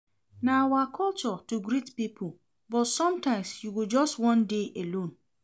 Na our culture to greet pipo but sometimes you go just wan dey alone.